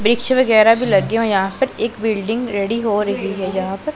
वृक्ष वगैरा भी लगे हुए है यहां पर एक बिल्डिंग रेडी हो रही है यहां पर --